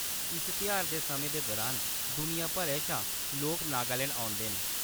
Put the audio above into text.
इस तेहारै दे समें दे दुरान दुनिया भरै शा लोक नागालैंड औंदे न।